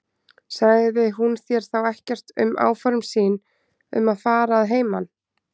Sagði hún þér þá ekkert um áform sín um að fara að heiman?